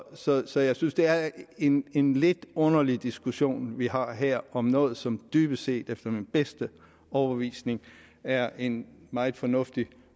så jeg synes det er en en lidt underlig diskussion vi har her om noget som dybest set efter min bedste overbevisning er en meget fornuftig